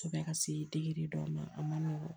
Kosɛbɛ ka se dɔw ma a ma nɔgɔn